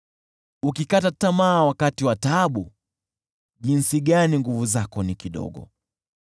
Ukikata tamaa wakati wa taabu, jinsi gani nguvu zako ni kidogo!